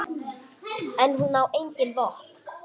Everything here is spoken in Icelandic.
En hún á engin vopn.